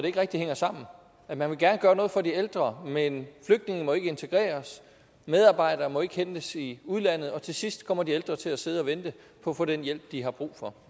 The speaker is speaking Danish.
ikke rigtig hænger sammen man vil gerne gøre noget for de ældre men flygtningene må ikke blive integreret medarbejderne må ikke hentes i udlandet og til sidst kommer de ældre til at sidde og vente på at få den hjælp de har brug for